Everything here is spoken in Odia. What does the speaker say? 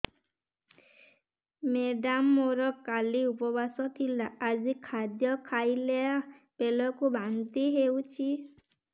ମେଡ଼ାମ ମୋର କାଲି ଉପବାସ ଥିଲା ଆଜି ଖାଦ୍ୟ ଖାଇଲା ବେଳକୁ ବାନ୍ତି ହେଊଛି